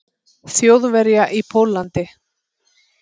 Þjóðverja í Pólland.